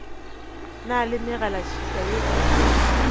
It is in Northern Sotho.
na le megalatšhika ye e